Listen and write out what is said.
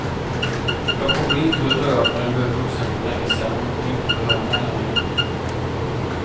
Jag kommer inte att dö förrän du är vuxen för länge sen, och inte behöver mig längre.